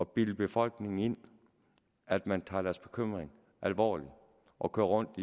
bilde befolkningen ind at man tager deres bekymringer alvorligt og køre rundt